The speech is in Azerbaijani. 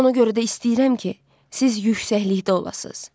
Ona görə də istəyirəm ki, siz yüksəklikdə olasız.